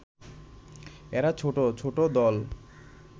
এরা ছোট ছোট দল